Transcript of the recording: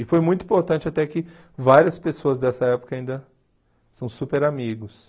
E foi muito importante até que várias pessoas dessa época ainda são super amigos.